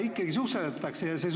Ikkagi susserdatakse!